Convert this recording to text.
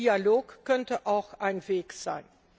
Dialog könnte auch ein Weg sein.